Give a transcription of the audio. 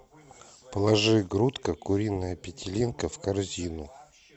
положи грудка куриная петелинка в корзину